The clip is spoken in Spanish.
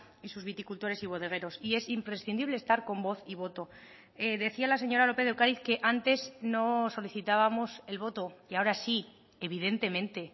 y sus viticultores y bodegueros y es imprescindible estar con voz y voto decía la señora lópez de ocariz que antes no solicitábamos el voto y ahora sí evidentemente